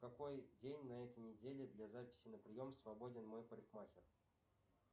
какой день на этой неделе для записи на прием свободен мой парикмахер